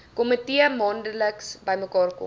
komitee maandeliks bymekaarkom